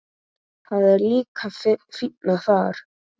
Það er líka fínna þar.